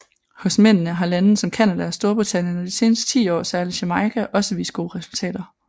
Hos mændene har lande som Canada og Storbritannien og de seneste 10 år særlig Jamaica også vist gode resultater